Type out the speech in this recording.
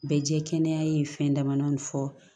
Bɛ jɛ kɛnɛya in fɛn dama fɔ